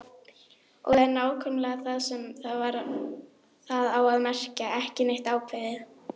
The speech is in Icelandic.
Og það er nákvæmlega það sem það á að merkja: ekki neitt ákveðið.